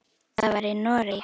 Það var í Noregi.